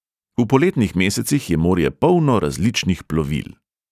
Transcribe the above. V poletnih mesecih je morje polno različnih plovil.